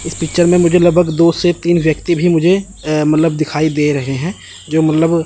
इस पिक्चर में मुझे लगभग दो से तीन व्यक्ति भी मुझे मतलब दिखाई दे रहे हैं जो मतलब--